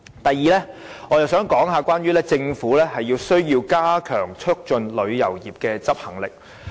第二，我想談談關於政府有需要加強促進旅遊業的執行力。